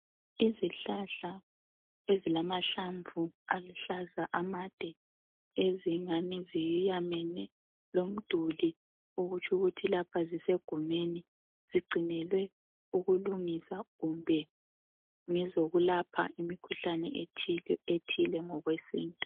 Izihlahla ezilamahlamvu aluhlaza amade ezingani ziyamene lomduli okutsho ukuthi lapha zisegumeni zigcinelwe ukulungisa kumbe ngezokulapha imikhuhlane ethile ngokwesintu.